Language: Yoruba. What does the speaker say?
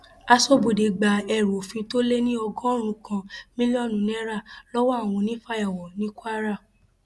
aṣọbodè gba ẹrù òfin tó lé ní ọgọrùnún kan mílíọnù náírà lọwọ àwọn onífàyàwọ ní kwara